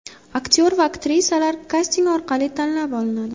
Aktyor va aktrisalar kasting orqali tanlab olinadi.